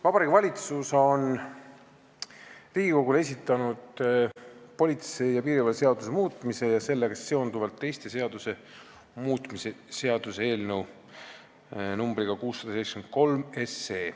Vabariigi Valitsus on Riigikogule esitanud politsei ja piirivalve seaduse muutmise ja sellega seonduvalt teiste seaduste muutmise seaduse eelnõu numbriga 673.